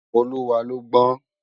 Oluwa lò gbòn